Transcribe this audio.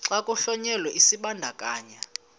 xa kuhlonyelwa isibandakanyi